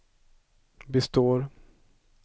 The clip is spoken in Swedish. består